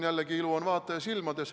Jällegi: ilu on vaataja silmades.